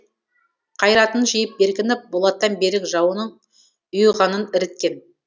қайратын жиып беркініп болаттан берік жауының ұйығанын іріткен